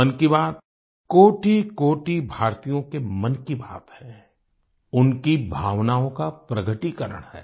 मन की बात कोटिकोटि भारतीयों के मन की बात है उनकी भावनाओं का प्रकटीकरण है